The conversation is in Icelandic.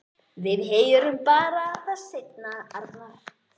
Við heyrum það bara seinna, Arnar.